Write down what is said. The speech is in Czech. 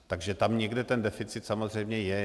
Takže tam někde ten deficit samozřejmě je.